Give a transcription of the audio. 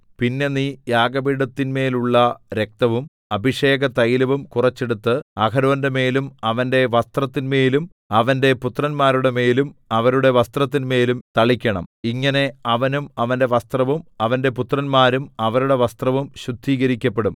പിന്നെ നീ യാഗപീഠത്തിന്മേലുള്ള രക്തവും അഭിഷേകതൈലവും കുറച്ചെടുത്ത് അഹരോന്റെമേലും അവന്റെ വസ്ത്രത്തിന്മേലും അവന്റെ പുത്രന്മാരുടെമേലും അവരുടെ വസ്ത്രത്തിന്മേലും തളിക്കണം ഇങ്ങനെ അവനും അവന്റെ വസ്ത്രവും അവന്റെ പുത്രന്മാരും അവരുടെ വസ്ത്രവും ശുദ്ധീകരിക്കപ്പെടും